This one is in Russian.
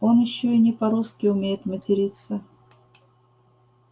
он ещё и не по-русски умеет материться